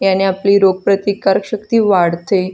ह्याने आपली रोग प्रतिकारक शक्ति वाढते.